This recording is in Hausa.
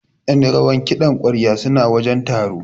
Ƴan rawar kiɗan ƙwarya suna wajen taron.